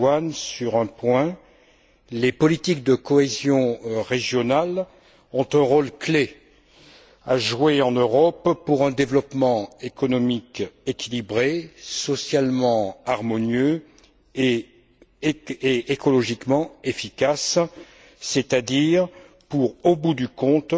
Luhan sur un point les politiques de cohésion régionale ont un rôle clé à jouer en Europe pour un développement économique équilibré, socialement harmonieux et écologiquement efficace, c'est à dire au bout du compte,